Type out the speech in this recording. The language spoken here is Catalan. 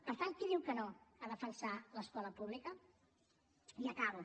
per tant qui diu que no a defensar l’escola pública i acabo